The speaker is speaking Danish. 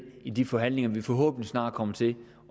i de forhandlinger vi forhåbentlig snart kommer til